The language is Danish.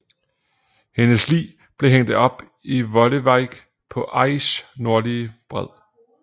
Hendes lig blev hængt op i Volewijk på IJs nordlige bred